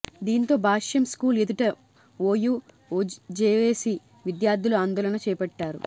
దీంతో భాష్యం స్కూల్ ఎదుట OU JAC విద్యార్థులు ఆందోళన చేపట్టారు